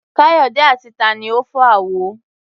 Káyọ̀dé àti ta ni ó fọ́ àwo?